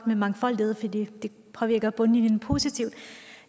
med mangfoldighed fordi det påvirker bundlinjen positivt